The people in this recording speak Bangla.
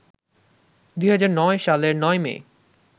২০০৯ সালের ৯ মে